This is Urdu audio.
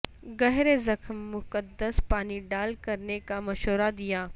گہرے زخم مقدس پانی ڈال کرنے کا مشورہ دیا